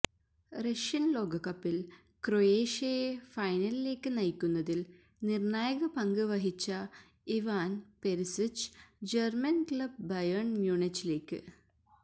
Russian ലോകകപ്പിൽ ക്രൊയേഷ്യയെ ഫൈനലിലേക്ക് നയിക്കുന്നതിൽ നിർണായകപങ്ക് വഹിച്ച Ivan Perisic German club Bayern മ്യൂണിച്ചിലേക്ക്